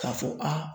K'a fɔ a